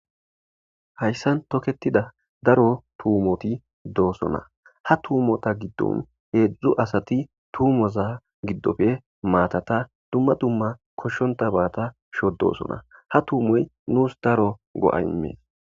Hayssan toketida daro tuumoti doosona ha tuumota giddon heedzdzu asati tuumoza giddofe maatata dumma dumma koshshonta baata sho doosona ha tuumoy nuus daro go7a imee.